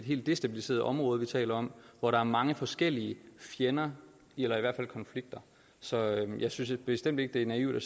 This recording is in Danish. helt destabiliseret område vi taler om hvor der er mange forskellige fjender eller i hvert fald konflikter så jeg synes bestemt ikke det er naivt at